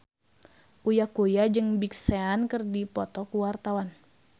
Uya Kuya jeung Big Sean keur dipoto ku wartawan